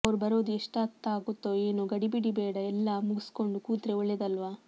ಅವ್ರು ಬರೋದು ಎಷ್ಟೊತ್ತಾಗುತ್ತೊ ಏನೊ ಗಡಿಬಿಡಿ ಬೇಡ ಎಲ್ಲ್ ಮುಗುಸ್ಕೊಂದು ಕೂತ್ರೆ ಒಳ್ಳೆದಲ್ವ